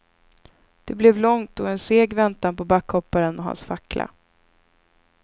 Det blev långt och en seg väntan på backhopparen och hans fackla.